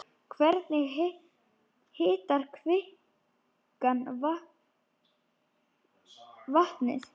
Hvernig hitar kvikan vatnið?